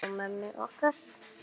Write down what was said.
Kalla á mömmur okkar?